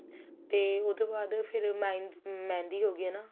ਤੇ ਉਸ ਤੋਂ ਬਾਅਦ ਫੇਰ mehendi ਹੋ ਗਈ ਹਨਾ